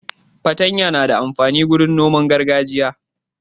Fatanya na da amfani wurin noman gargajiya.